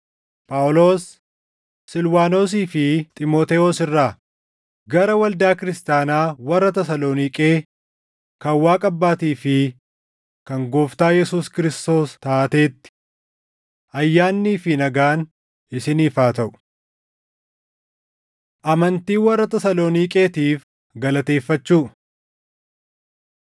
Phaawulos, Silwaanosii fi Xiimotewos irraa, Gara waldaa kiristaanaa warra Tasaloniiqee kan Waaqa Abbaatii fi kan Gooftaa Yesuus Kiristoos taateetti: Ayyaannii fi nagaan isiniif haa taʼu. Amantii Warra Tasaloniiqeetiif Galateeffachuu